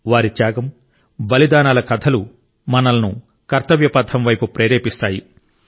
వారి త్యాగం బలిదానాల కథలు మనలను కర్తవ్య పథం వైపు ప్రేరేపిస్తాయి